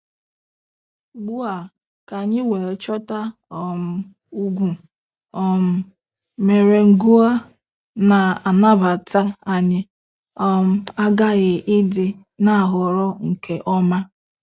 Ugbu a, ka anyị wee chọta um egwu um merengue a na-anabata, anyị um aghaghị ịdị na-ahọrọ nke ọma.